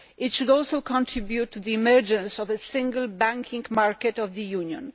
It should also contribute to the emergence of a single banking market of the Union.